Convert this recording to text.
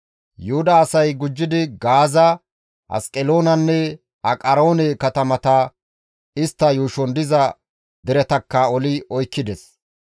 Yuhuda asay gujjidi Gaaza, Asqeloonanne Aqaroone katamata istta yuushon diza deretakka oli oykkides.